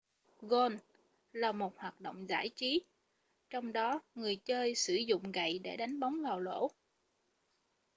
gôn là một hoạt động giải trí trong đó người chơi sử dụng gậy để đánh bóng vào lỗ